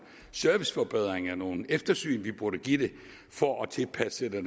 serviceforbedringer nogle eftersyn vi burde give det for at tilpasse det